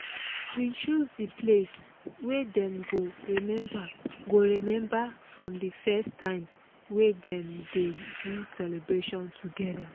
we choose the place wey dem go remember go remember from the first times wey dem dey do celebration together